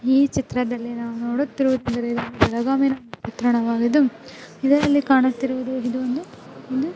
ಈ ಚಿತ್ರದಲ್ಲಿ ನಾವು ನೋಡುತ್ತಾ ಇರುವುದೇನೆಂದರೆ ಬೆಳಗಾಮಿನ ಚಿತ್ರಣವಾಗಿದ್ದು ಇದರಲ್ಲಿ ಕಾಣುತ್ತಿರುವುದು ಇದೊಂದು --